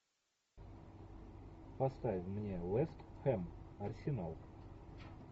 поставь мне вест хэм арсенал